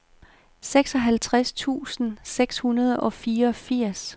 seksoghalvfjerds tusind seks hundrede og fireogfirs